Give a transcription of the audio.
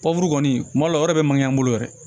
Pɔbu kɔni kuma la o yɛrɛ bɛ mankan bolo yɛrɛ